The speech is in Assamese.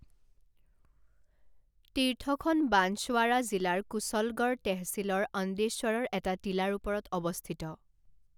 তীৰ্থখন বাঞ্চৱাৰা জিলাৰ কুশলগড় তেহছিলৰ অন্দেশ্বৰৰ এটা টিলাৰ ওপৰত অৱস্থিত।